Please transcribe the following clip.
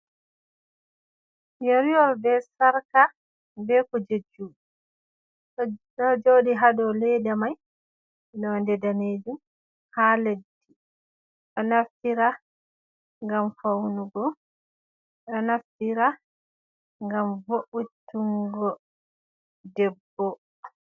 Yeriwol be sarka be kuje juɗe, ɗo joɗi hadow ledda mai nolde danejum ha leddi, ɗo naftira ngam faunugo, ɗo naftira ngam vo’itungo debbo.